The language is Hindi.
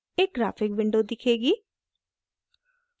एक ग्राफिक विंडो दिखेगी